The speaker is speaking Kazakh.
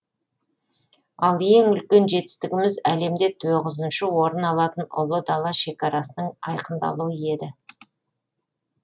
ал ең үлкен жетістігіміз әлемде тоғызыншы орын алатын ұлы дала шекарасының айқындалуы еді